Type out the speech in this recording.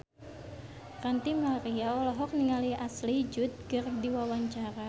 Ranty Maria olohok ningali Ashley Judd keur diwawancara